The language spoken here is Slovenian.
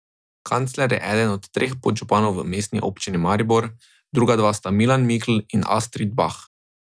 Kancler je eden od treh podžupanov v Mestni občini Maribor, druga dva sta Milan Mikl in Astrid Bah.